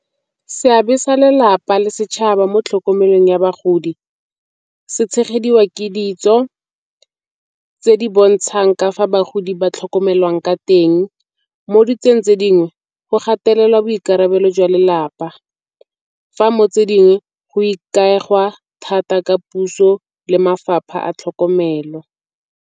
Seabe sa lelapa le setšhaba mo tlhokomelong ya bagodi se tshegediwa ke ditso tse di bontshang ka fa bagodi ba tlhokomelwang ka teng. Mo ditsong tse dingwe go gatelelwa boikarabelo jwa lelapa, fa mo tse dingwe go ikaega thata ka puso le mafapha a tlhokomelo.